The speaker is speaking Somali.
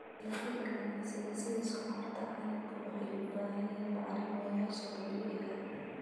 Dalagyada ganacsiga sida sonkorta canabka waxay u baahan yihiin bacrimiyeyaasha dabiiciga ah.